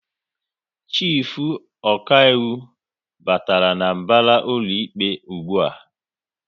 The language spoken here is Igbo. Chifu okaiwu batara n'mbara ụlọikpe ụgbụa